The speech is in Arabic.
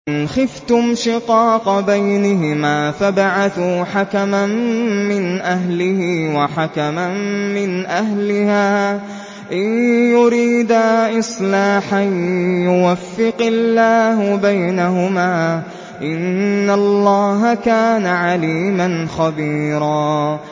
وَإِنْ خِفْتُمْ شِقَاقَ بَيْنِهِمَا فَابْعَثُوا حَكَمًا مِّنْ أَهْلِهِ وَحَكَمًا مِّنْ أَهْلِهَا إِن يُرِيدَا إِصْلَاحًا يُوَفِّقِ اللَّهُ بَيْنَهُمَا ۗ إِنَّ اللَّهَ كَانَ عَلِيمًا خَبِيرًا